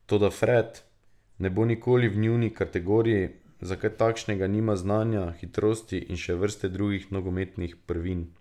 Toda Fred ne bo nikoli v njuni kategoriji, za kaj takšnega nima znanja, hitrosti in še vrste drugih nogometnih prvin.